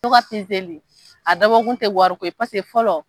Tɔgɔ sɛnsɛnli a dabɔ kun tɛ wari ko ye paseke fɔlɔ,